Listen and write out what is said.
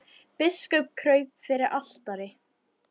Biskup kraup fyrir altari.